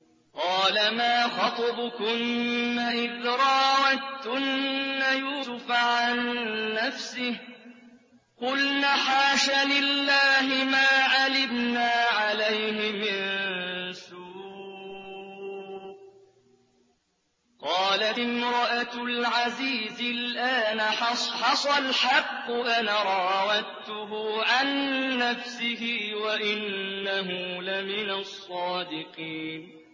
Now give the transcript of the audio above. قَالَ مَا خَطْبُكُنَّ إِذْ رَاوَدتُّنَّ يُوسُفَ عَن نَّفْسِهِ ۚ قُلْنَ حَاشَ لِلَّهِ مَا عَلِمْنَا عَلَيْهِ مِن سُوءٍ ۚ قَالَتِ امْرَأَتُ الْعَزِيزِ الْآنَ حَصْحَصَ الْحَقُّ أَنَا رَاوَدتُّهُ عَن نَّفْسِهِ وَإِنَّهُ لَمِنَ الصَّادِقِينَ